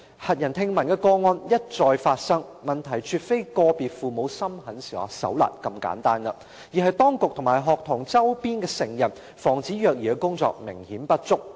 駭人聽聞的個案一再發生，問題絕非個別父母心狠手辣這麼簡單，而是當局及學童周邊的成人防止虐兒的工作明顯不足。